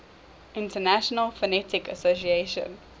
international phonetic association